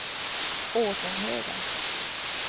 Åsenhöga